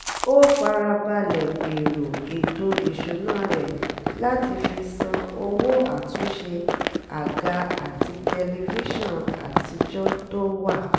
ó fara balẹ̀ gbèrò ètò ìṣúná rẹ̀ láti fi san owó àtúnṣe àga àti tẹlifíṣàn àtijọ́ tó wà